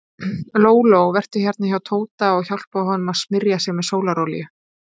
Lóló, vertu hérna hjá Tóta og hjálpaðu honum að smyrja sig með sólarolíu.